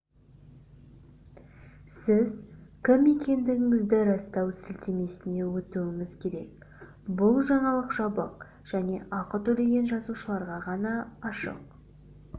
сіз кім екендігіңізді растау сілтемесіне өтуіңіз керек бұл жаңалық жабық және ақы төлеген жазылушыларға ғана ашық